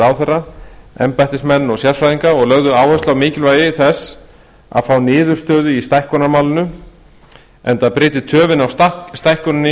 ráðherra embættismenn og sérfræðinga og lögðu áherslu á mikilvægi þess að fá niðurstöðu í stækkunarmálinu enda bryti töfin á stækkuninni